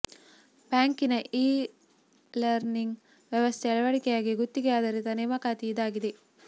ಬ್ಯಾಂಕಿನ e learning ವ್ಯವಸ್ಥೆ ಅಳವಡಿಕೆಗಾಗಿ ಗುತ್ತಿಗೆ ಆಧಾರಿತ ನೇಮಕಾತಿ ಇದಾಗಿದೆ